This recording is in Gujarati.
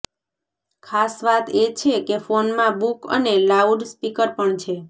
ખાસ વાત એ છે કે ફોનમાં બુક અને લાઉડ સ્પીકર પણ છે